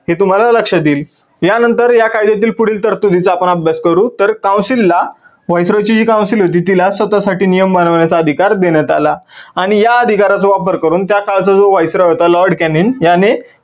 हे तुम्हाला लक्षात येईल. या नंतर या कायद्यातील पुढील तरतुदींचा आपण अभ्यास करू. तर council ला viceroy ची जी council होती तिला स्वतः साठी नियम बनवण्याचा अधिकार देण्यात आला. आणि या अधिकाराचा वापर करून त्या काळचा जो viceroy होता Lord Cannin याने